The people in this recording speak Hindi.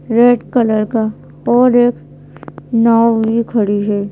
रेड कलर का और एक नाव भी खड़ी है।